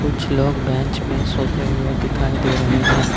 कुछ लोग बेंच में सोते हुए दिखाई दे रहे हैं।